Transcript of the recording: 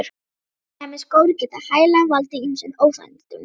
Slæmir skór geta hæglega valdið ýmsum óþægindum.